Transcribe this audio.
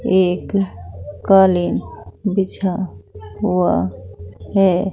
एक कालीन बिछा हुआ है।